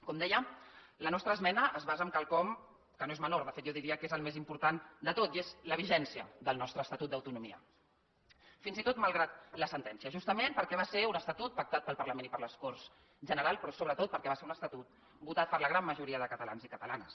com deia la nostra esmena es basa en quelcom que no és menor de fet jo diria que és el més important de tot i és la vigència del nostre estatut d’autonomia fins i tot malgrat la sentència justament perquè va ser un estatut pactat pel parlament i per les corts generals però sobretot perquè va ser un estatut votat per la gran majoria de catalans i catalanes